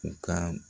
U ka